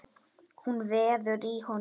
Hún veður í honum.